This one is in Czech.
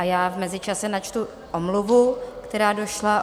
A já v mezičase načtu omluvu, která došla.